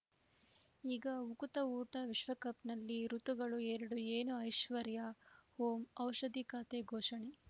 ಈಗ ಉಕುತ ಊಟ ವಿಶ್ವಕಪ್‌ನಲ್ಲಿ ಋತುಗಳು ಎರಡು ಏನು ಐಶ್ವರ್ಯಾ ಓಂ ಔಷಧಿ ಖಾತೆ ಘೋಷಣೆ